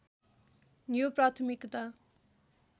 यो प्राथमिकता